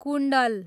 कुण्डल